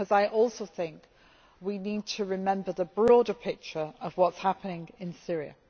Because I also think that we need to remember the broader picture of what is happening in Syria.